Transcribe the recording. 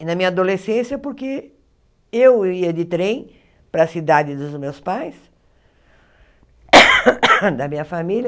E na minha adolescência, porque eu ia de trem para a cidade dos meus pais, da minha família,